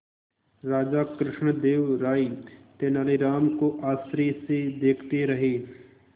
राजा कृष्णदेव राय तेनालीराम को आश्चर्य से देखते रहे